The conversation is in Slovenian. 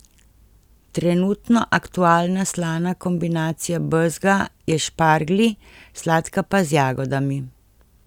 Trenutno aktualna slana kombinacija bezga je s šparglji, sladka pa z jagodami.